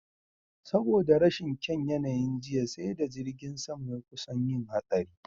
Saboda rashin kyaun yanayin jiya, sai da jirgin sama ya kusan yin hatsari.